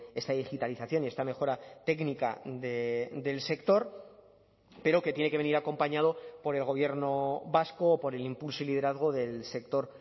esta digitalización y esta mejora técnica del sector pero que tiene que venir acompañado por el gobierno vasco o por el impulso y liderazgo del sector